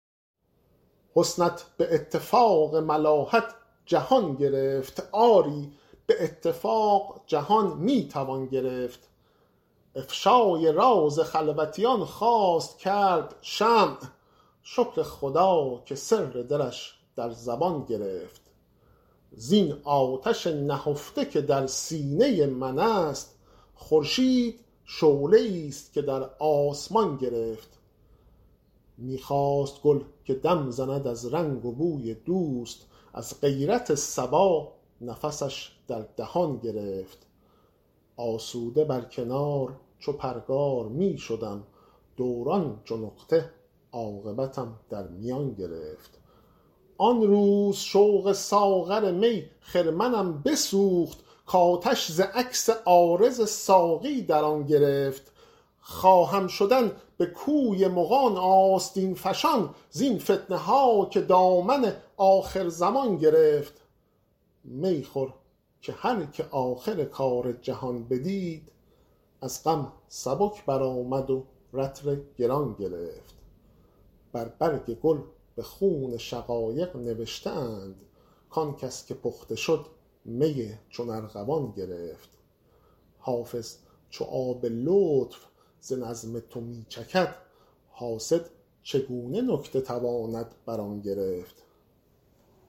حسنت به اتفاق ملاحت جهان گرفت آری به اتفاق جهان می توان گرفت افشای راز خلوتیان خواست کرد شمع شکر خدا که سر دلش در زبان گرفت زین آتش نهفته که در سینه من است خورشید شعله ای ست که در آسمان گرفت می خواست گل که دم زند از رنگ و بوی دوست از غیرت صبا نفسش در دهان گرفت آسوده بر کنار چو پرگار می شدم دوران چو نقطه عاقبتم در میان گرفت آن روز شوق ساغر می خرمنم بسوخت کآتش ز عکس عارض ساقی در آن گرفت خواهم شدن به کوی مغان آستین فشان زین فتنه ها که دامن آخرزمان گرفت می خور که هر که آخر کار جهان بدید از غم سبک برآمد و رطل گران گرفت بر برگ گل به خون شقایق نوشته اند کآن کس که پخته شد می چون ارغوان گرفت حافظ چو آب لطف ز نظم تو می چکد حاسد چگونه نکته تواند بر آن گرفت